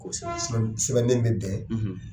Sɛbɛn sɛbɛnden bɛ bɛn.